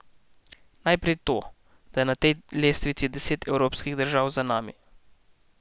Najprej to, da je na tej lestvici deset evropskih držav za nami.